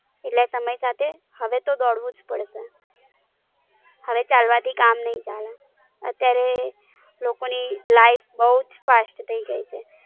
એટલે સમય સાથે હવે તો દોડવું જ પડશે, હવેચાલવાથી કામ નઈ ચાલે. અત્યારે લોકો ની Life Bow Fast થઇ ગઈ છે.